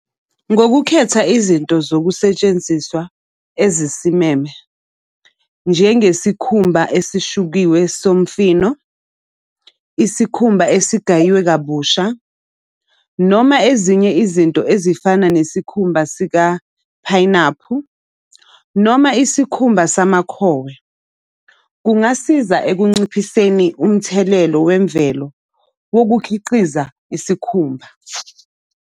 Ngokukhetha izinto zokusetshenziswa ezisimeme njengesikhumba esishukiwe somfino, isikhumba esigayiwe kabusha, noma ezinye izinto ezifana nesikhumba sikaphayinaphu, noma isikhumba samakhowe. Kungasiza ekunciphiseni umthelelo wemvelo wokukhiqiza isikhumba.